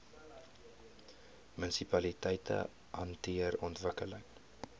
munisipaliteite hanteer ontwikkeling